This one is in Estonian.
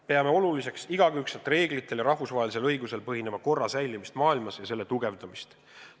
Peame oluliseks igakülgselt reeglitel ja rahvusvahelisel õigusel põhineva korra säilimist maailmas ja selle tugevdamist.